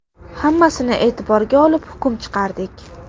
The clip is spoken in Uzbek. Hammasini e’tiborga olib hukm chiqardik.